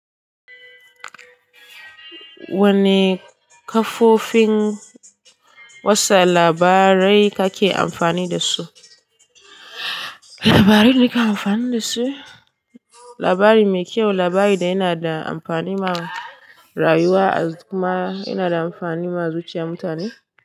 Wane kafofin watsa labarai kake amfani da su? Labarai da nake amfani da su? Labari mai kyau, labari da yana da amfani ma rayuwa kuma yana da amfani ma zuciyar mutane.